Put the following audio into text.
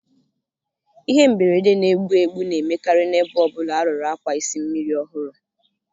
Ihe mberede na-egbu egbu na-emekarị na-ebe ọ bụla arụrụ akwa isi mmiri ọhụrụ